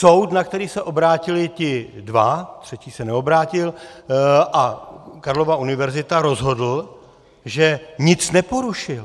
Soud, na který se obrátili ti dva, třetí se neobrátil, a Karlova univerzita, rozhodl, že nic neporušil.